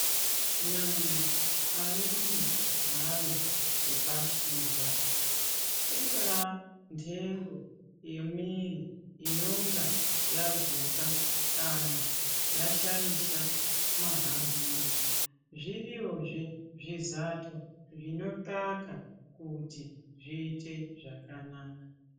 Nyama aidi hayo kupashirwa. Ingaa ntengo yemwiri inonga yaguka kana yashaisha mahambiro zviriyozve zvizato zvinothaka kuti zviite zvakanaka.